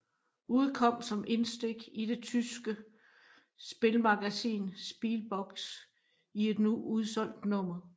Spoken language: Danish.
Udkom som indstik til det tyske spilmagasin Spielbox i et nu udsolgt nummer